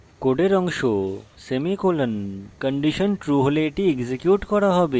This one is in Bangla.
কোডের অংশ সেমিকোলন কন্ডিশন true হলে এটি এক্সিকিউট করা হবে